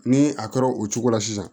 Ni a kɛra o cogo la sisan